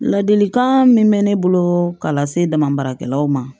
Ladilikan min bɛ ne bolo ka lase damabaarakɛlaw ma